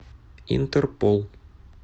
интерпол